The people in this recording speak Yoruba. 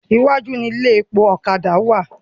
Iwájú ni ilé epo ọ̀kadà wà.